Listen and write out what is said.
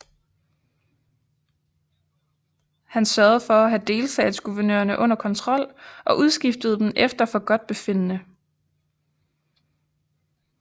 Han sørgede for at have delstatsguvernørerne under kontrol og udskiftede dem efter forgodtbefindende